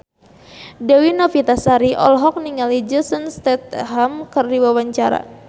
Dewi Novitasari olohok ningali Jason Statham keur diwawancara